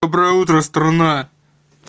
доброе утро страна